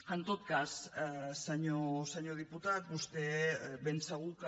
en tot cas senyor diputat vostè ben segur que